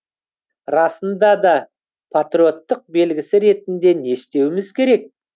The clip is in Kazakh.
расында да патриоттық белгісі ретінде не істеуіміз керек